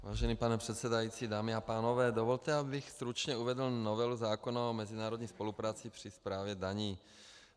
Vážený pane předsedající, dámy a pánové, dovolte, abych stručně uvedl novelu zákona o mezinárodní spolupráci při správě daní.